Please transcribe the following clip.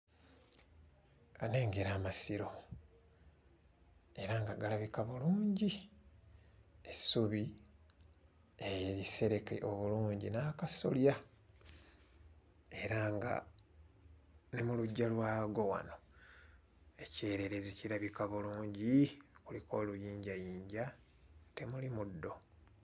Uh nnengera amasiro era nga galabika bulungi essubi erisereke obulungi n'akasolya era nga ne mu luggya lwago wano ekyererezi kirabika bulungi kuliko oluyinjayinja temuli muddo.